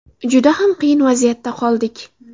Juda xam qiyin vaziyatda qoldik.